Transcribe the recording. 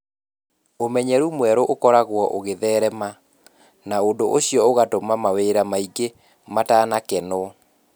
Ũmenyeru mwerũ ũkoragwo ũgĩtherema, na ũndũ ũcio ũgatũma mawĩra maingĩ matanakenwo.